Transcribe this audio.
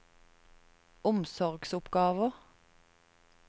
omsorgsoppgaver